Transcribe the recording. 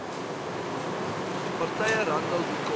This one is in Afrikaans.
partye randall wicomb